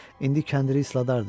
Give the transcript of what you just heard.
İndi kəndiri isladardı.